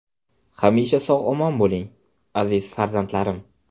Hamisha sog‘-omon bo‘ling, aziz farzandlarim!